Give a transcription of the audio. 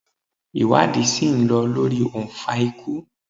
Iwadi si n lọ lori ounfa ikú